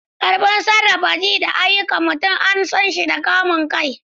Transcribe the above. Ƙarfin sarrafa ji da ayyukan mutum an san shi da kamun kai.